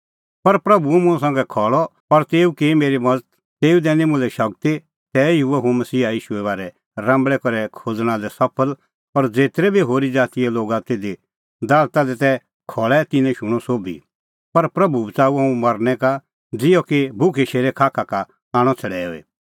पर प्रभू हुअ मुंह संघै खल़अ और तेऊ की मेरी मज़त तेऊ दैनी मुल्है शगती तैही हुअ हुंह मसीहा ईशूए बारै राम्बल़ै करै खोज़णा लै सफल और ज़ेतरै बी होरी ज़ातीए लोग तिधी दालता दी तै खल़ै तिन्नैं शूणअ सोभी प्रभू बच़ाऊअ हुंह मरनै का ज़िहअ कि भुखै शेरे खाखा का आणअ छ़ड़ैऊई